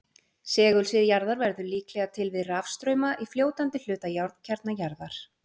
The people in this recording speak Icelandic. segulsvið jarðar verður líklega til við rafstrauma í fljótandi hluta járnkjarna jarðar